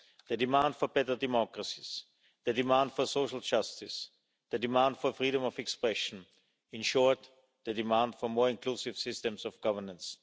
The demand for better democracies, the demand for social justice, the demand for freedom of expression, in short, the demand for more inclusive systems of governance.